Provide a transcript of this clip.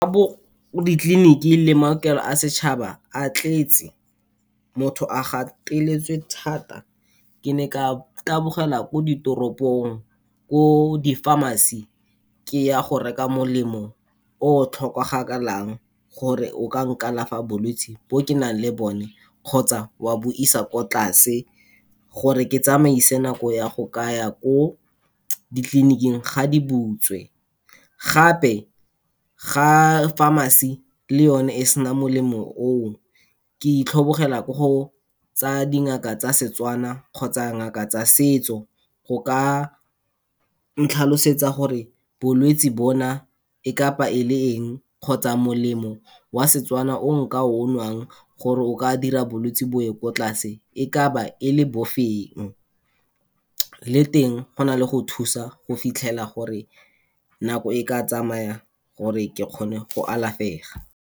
di-clinic-e le maokelo a setšhaba a tletse, motho a gateletswe thata, ke ne ka tabogela ko ditoropong, ko di-pharmacy, ke ya go reka molemo o tlhokagalang, gore o ka nkalafa bolwetsi bo ke nang le bone kgotsa wa bo isa ko tlase gore ke tsamaise nako ya go ka ya ko di-clinic-ing ga di butswe. Gape ga pharmacy le yone e sena molemo o, ke itlhobogela ko go tsa dingaka tsa Setswana kgotsa ngaka tsa setso, go ka ntlhalosetsa gore bolwetsi bona e ka ba e le eng, kgotsa molemo wa Setswana o nka o nwang gore o ka dira gore bolwetsi bo ye ko tlase e ka ba e le bofelong, le teng go na le go thusa go fitlhela gore nako e ka tsamaya gore ke kgone go alafega.